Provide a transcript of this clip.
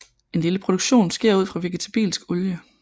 En lille produktion sker ud fra vegetabilsk olie